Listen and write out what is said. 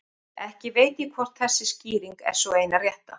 Ekki veit ég hvort þessi skýring er sú eina rétta.